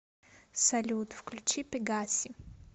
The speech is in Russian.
салют включи пегаси